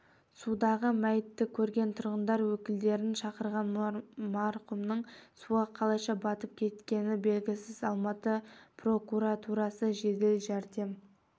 судағы мәйітті көрген тұрғындар өкілдерін шақырған марқұмның суға қалайша батып кеткені белгісіз алматы прокуратурасы жедел жәрдем